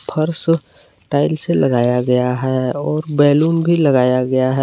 फर्श टाइल्स से लगाया गया है और बैलून भी लगाया गया है।